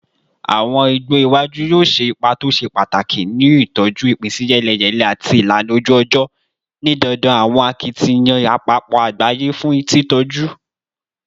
Awọn igbo iwaju yoo ṣe ipa to ṣe pataki ni itọju ipinsiyeleyele ati ilana oju-ọjọ, ni dandan awọn akitiyan apapọ agbaye fun titọju